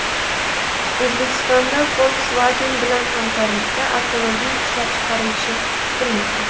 O‘zbekistonda Volkswagen bilan hamkorlikda avtomobil ishlab chiqarilishi kutilmoqda.